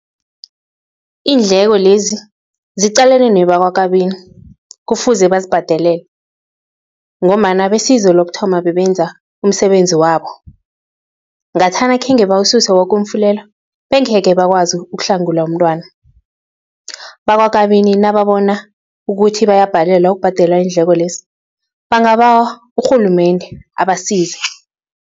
Iindleko-lezi ziqalene nebakwaKabini, kufuze bazibhadalele ngombana besizo lokuthoma bebenza umsebenzi wabo, ngathana khenge bawususe woke umfulelo, bengekhe bakwazi ukuhlangula umntwana, bakwaKabani nababona ukuthi bayabhalelwa ukubhadela iindleko-lezi bangabawa urhulumende abasize.